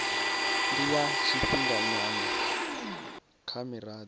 ndi ya tshifhinganyana kha mirado